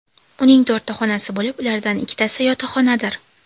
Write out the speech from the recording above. Uning to‘rtta xonasi bo‘lib, ulardan ikkitasi yotoqxonadir.